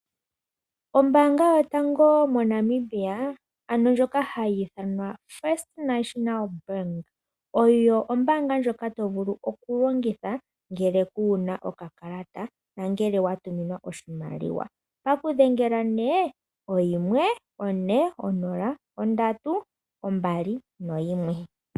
Oombanga yootango moNamibia ano ndjoka hayi dhanwa ( First National Bank) oyo ombanga ndjoka tovulu okulongitha ngele kuuna okakalata nangele watuminwa oshimaliwa ouna okudhengela nee 140321.